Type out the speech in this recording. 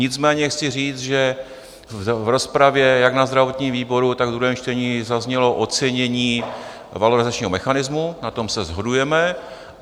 Nicméně chci říct, že v rozpravě jak na zdravotním výboru, tak ve druhém čtení zaznělo ocenění valorizačního mechanismu, na tom se shodujeme.